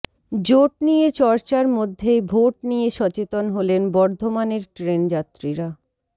জোট নিয়ে চর্চার মধ্যেই ভোট নিয়ে সচেতন হলেন বর্ধমানের ট্রেনযাত্রীরা